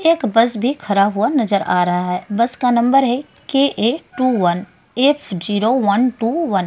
एक बस भी खरा हुआ नज़र आ रहा है बस का नम्बर है two one F zero one two one --